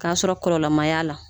K'a sɔrɔ kɔlɔlɔ ma y'a la.